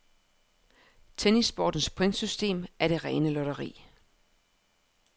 Tennissportens pointsystem er det rene lotteri.